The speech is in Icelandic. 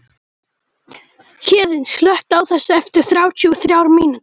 Héðinn, slökktu á þessu eftir þrjátíu og þrjár mínútur.